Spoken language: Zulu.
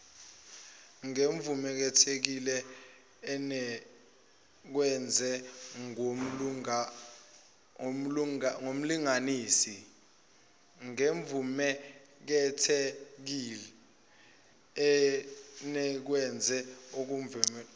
ngemvumeekhethekile enikezwe ngyumlunganisi